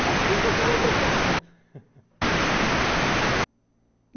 Para que eu quero outro carro?